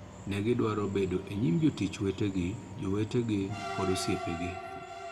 Ni gidwaro bedo e nyim jotich wetegi, jowetegi, kod osiepegi.